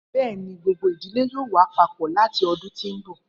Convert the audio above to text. Bẹẹni, gbogbo idile yoo wa papọ lati ọdun ti n bọ.